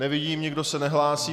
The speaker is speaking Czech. Nevidím, nikdo se nehlásí.